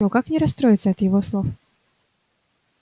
но как не расстроиться от его слов